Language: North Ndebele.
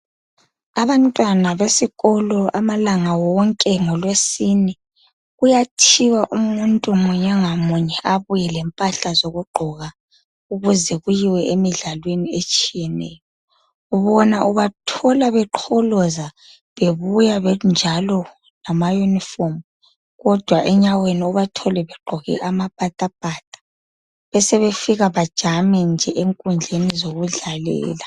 Abantwana besikolo amalanga wonke ngolwesine kuyathiwa umuntu munye ngamunye abuye lemphahla zokugqoka ukuze kuyiwe emidlalweni etshiyeneyo bona ubathola beqholoza bebuya benjalo ngamaunirform kodwa enyaweni ubathole begqoke amapatapata besebefika bajampe nje enkundleni zokudlalela.